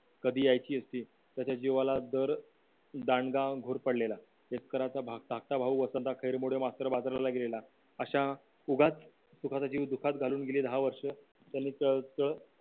कधी यायचे असती तर त्याच्या जीवाला दर दांडगा घोरपडलेला धाकटा भाऊ मास्टर बाजारा गेलेला अशा उगाच स्वतःचा जीव धोक्यात घालून गेले दहा वर्ष